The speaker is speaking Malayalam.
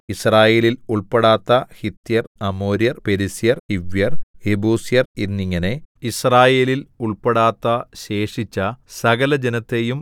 യിസ്രായേലിൽ ഉൾപ്പെടാത്ത ഹിത്യർ അമോര്യർ പെരിസ്യർ ഹിവ്യർ യെബൂസ്യർ എന്നിങ്ങനെ യിസ്രായേലിൽ ഉൾപ്പെടാത്ത ശേഷിച്ച സകലജനത്തെയും